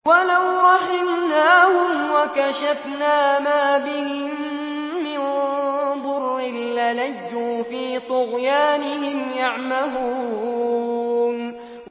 ۞ وَلَوْ رَحِمْنَاهُمْ وَكَشَفْنَا مَا بِهِم مِّن ضُرٍّ لَّلَجُّوا فِي طُغْيَانِهِمْ يَعْمَهُونَ